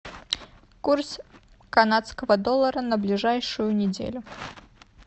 курс канадского доллара на ближайшую неделю